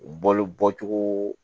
Balo bɔcogo